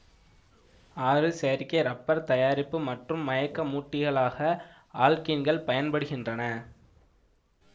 ஆறு செயற்கை இரப்பர் தயாரிப்பு மற்றும் மயக்கமூட்டிகளாக ஆல்க்கீன்கள் பயன்படுகின்றன